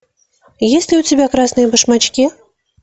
есть ли у тебя красные башмачки